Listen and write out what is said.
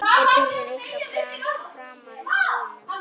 Er byrjun ykkar framar vonum?